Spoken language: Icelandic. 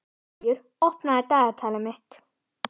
Stígur, opnaðu dagatalið mitt.